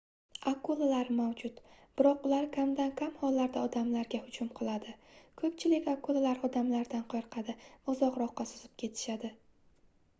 akulalar mavjud biroq ular kamdan-kam hollarda odamlarga hujum qiladi koʻpchilik akulalar odamlardan qoʻrqadi va uzoqroqqa suzib ketishadi